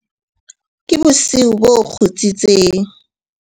ke bosiu bo kgutsitseng